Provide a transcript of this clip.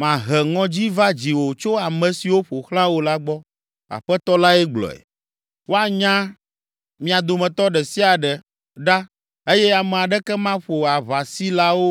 Mahe ŋɔdzi va dziwò tso ame siwo ƒo xlã wò la gbɔ.” Aƒetɔ lae gblɔe. “Woanya mia dometɔ ɖe sia ɖe ɖa eye ame aɖeke maƒo aʋasilawo